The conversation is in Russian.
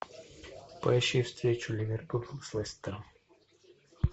поищи встречу ливерпуль с лестером